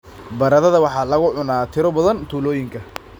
Baradhada waxaa lagu cunaa tiro badan tuulooyinka.